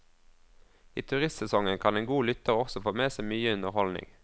I turistsesongen kan en god lytter også få med seg mye underholdning.